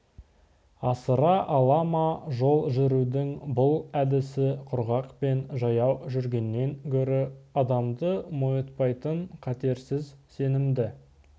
асыра ала ма жол жүрудің бұл әдісі құрғақпен жаяу жүргеннен гөрі адамды мойытпайтын қатерсіз сенімді